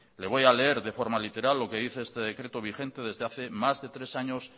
le voy a leer de forma literal lo que dice este decreto vigente desde hace más de tres años